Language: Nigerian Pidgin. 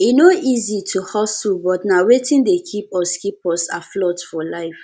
e no easy to hustle but na wetin dey keep us keep us afloat for life